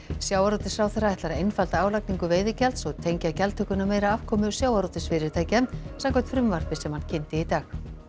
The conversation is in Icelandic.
sjávarútvegsráðherra ætlar að einfalda álagningu veiðigjalds og tengja gjaldtökuna meira afkomu sjávarútvegsfyrirtækja samkvæmt frumvarpi sem hann kynnti í dag